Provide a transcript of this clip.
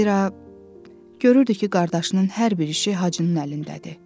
Zira görürdü ki, qardaşının hər bir işi Hacının əlindədir.